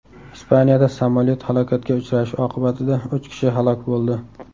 Ispaniyada samolyot halokatga uchrashi oqibatida uch kishi halok bo‘ldi.